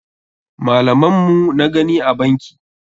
Malaman mu na gani a banki.